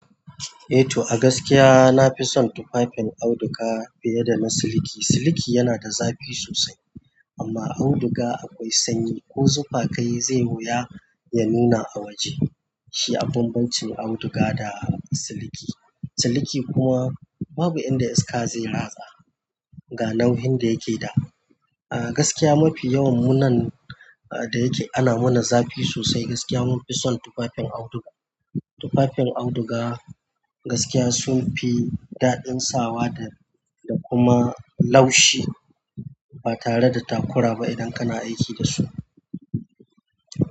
Eh to, a gaskiya na fi son tufafin auduga fiye da na siliki. Siliki yana da zafi sosai amma auduga akwai sanyi ko zufa kayi zai wuya ya nuna a waje. Shi a banbacin auduga da siliki. Siliki kuma babu inda iska zai ratsa ga nauyin da yake da. A gaskiya mafi yawan mu nan a da yake ana muna zafi sosai. Gaskiya mun fi son tufafin auduga. Tufafin auduga gaskiya sun fi daɗin sawa da, da kuma laushi ba tare da takura ba idan kana aiki dasu.